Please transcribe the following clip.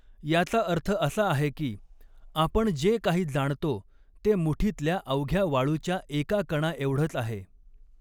याचा अर्थ असा आहे की, आपण जे काही जाणतो ते मुठीतल्या अवघ्या वाळूच्या एका कणाएवढंच आहे.